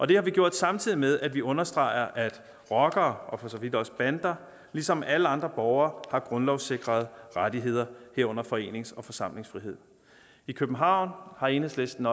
det har vi gjort samtidig med at vi understreger at rockere og for så vidt også bander ligesom alle andre borgere har grundlovssikrede rettigheder herunder forenings og forsamlingsfrihed i københavn har enhedslisten